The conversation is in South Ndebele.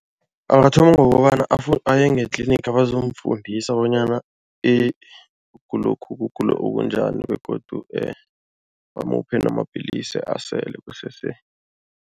Angathoma ngokobana aye ngetlinigi bazomufundisa bonyana ukugulokho kugula okunjani begodu bamuphe amapillisi asele kusese.